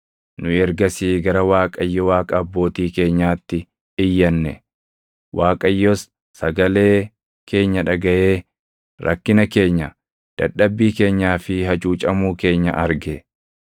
Nu ergasii gara Waaqayyo Waaqa abbootii keenyaatti iyyanne; Waaqayyos sagalee keenya dhagaʼee rakkina keenya, dadhabbii keenyaa fi hacuucamuu keenya arge.